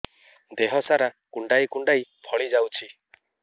ଦେହ ସାରା କୁଣ୍ଡାଇ କୁଣ୍ଡାଇ ଫଳି ଯାଉଛି